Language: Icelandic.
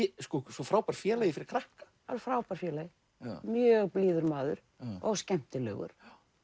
svo frábær félagi fyrir krakka alveg frábær félagi mjög blíður maður og skemmtilegur